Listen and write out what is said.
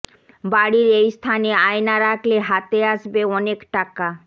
বাড়ির এই স্থানে আয়না রাখলে হাতে আসবে অনেক টাকা